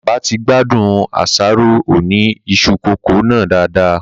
Bàbá ti gbádùn àsáró Oni isu coco nàá dádà